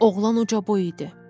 Oğlan ucaboy idi.